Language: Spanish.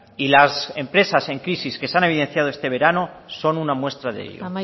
y las empresas en crisis que se han evidenciado este verano son una muestra de